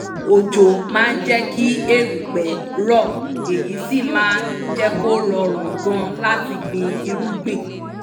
òjò máa jẹ́ kí erùpẹ̀ rọ̀ èyí sì máa jẹ́ kó rọrùn gan láti gbin irúgbìn